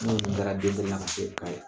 Ne kun taara n la ka kɛ